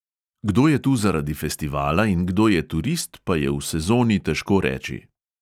Kdo je tu zaradi festivala in kdo je turist, pa je v sezoni težko reči.